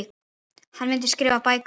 Hann myndi skrifa bækur.